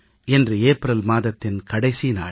இன்று ஏப்ரல் மாதத்தின் கடைசி நாள்